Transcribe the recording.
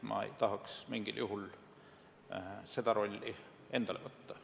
Ma ei tahaks mingil juhul seda rolli endale võtta.